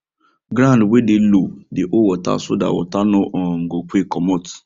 ground wey dey low dey hold water so that water no um go quick comot